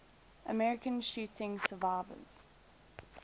american shooting survivors